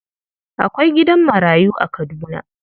Akwai gidan marayu a Kaduna.